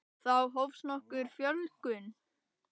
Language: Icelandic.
Þá hófst nokkur fjölgun.